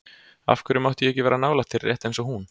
Af hverju mátti ég ekki vera nálægt þér, rétt eins og hún?